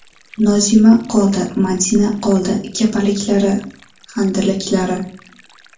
Nozima qoldi, Madina qoldi – Kapalaklari, Handalaklari.